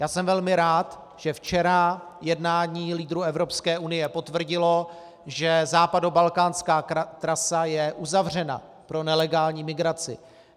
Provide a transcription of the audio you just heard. Já jsem velmi rád, že včera jednání lídrů Evropské unie potvrdilo, že západobalkánská trasa je uzavřena pro nelegální migraci.